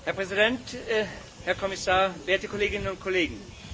Herr Präsident, Herr Kommissar, werte Kolleginnen und Kollegen!